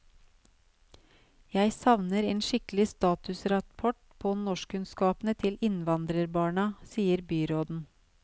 Jeg savner en skikkelig statusrapport på norskkunnskapene til innvandrerbarna, sier byråden.